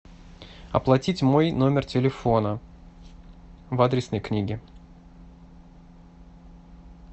оплатить мой номер телефона в адресной книге